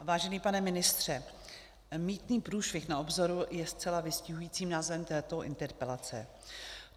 Vážený pane ministře, mýtný průšvih na obzoru je zcela vystihujícím názvem této interpelace.